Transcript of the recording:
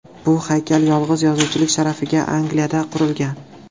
Bu haykal yolg‘iz yozuvchilik sharafiga Angliyada qurilgan.